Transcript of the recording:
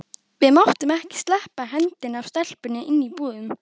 Við máttum ekki sleppa hendinni af stelpunni inni í búðum.